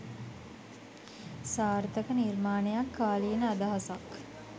සාර්ථක නිර්මාණයක් කාලීන අදහසක්